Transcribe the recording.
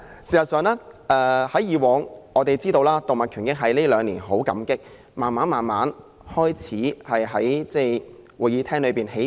事實上，我們感到欣慰，因為動物權益在近兩年慢慢在這個會議廳內起步。